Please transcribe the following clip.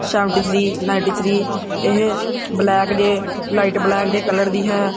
Seventy three ninety three ਏਹ black ਜੇਹ light black ਦੇ ਕਲਰ ਦੀ ਹੈ।